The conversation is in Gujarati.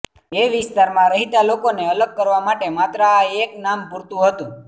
એ વિસ્તારમાં રહેતા લોકોને અલગ કરવા માટે માત્ર આ એક નામ પૂરતું હતું